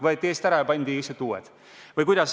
Võeti eest ära ja pandi lihtsalt uued.